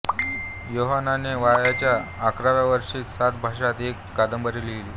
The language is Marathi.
योहानने वयाच्या अकराव्या वर्षीच सात भाषांत एक कादंबरी लिहिली